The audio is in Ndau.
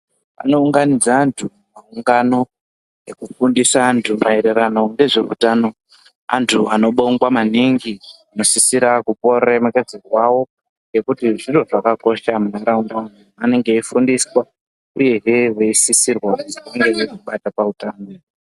Vano unganidza antu pa ungano reku unganidza antu maererano nezve utano antu ano bongwa maningi anosisira kupuwa ru remekedzo rwawo ngekuti zviro zvakakosha mu ndaraunda vanenge eyi fundiswa uyehe vei sisirwa kuzi vange vei zvibata pa utano.